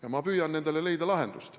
Ja ma püüan nendele lahendusi leida.